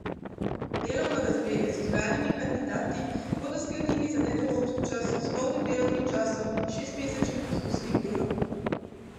Delovno razmerje z izbranimi kandidati bodo sklenili za nedoločen čas s polnim delovnim časom in šestmesečnim poskusnim delom.